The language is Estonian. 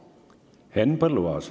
Henn Põlluaas.